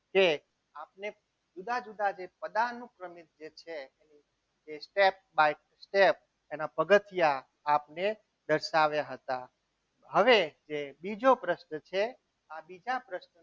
કે આપને જુદા જુદા પદાર્થોનું જે પ્રમાણ છે. એ step by step એના પગથિયાં આપને દર્શાવ્યા હતા. હવે જે બીજો પ્રશ્ન છે આ બીજા પ્રશ્નમાં